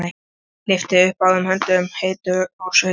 Lyfti upp báðum höndum, heitur og sveittur.